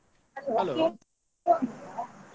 .